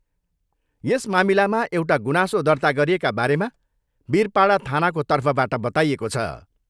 यस मामिलामा एउटा गुनासो दर्ता गरिएका बारेमा बीरपाडा थानाको तर्फबाट बताइएको छ।